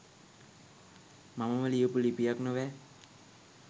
මමම ලියපු ලිපියක් නොවැ.